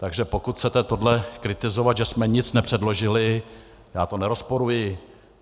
Takže pokud chcete tohle kritizovat, že jsme nic nepředložili, já to nerozporuji.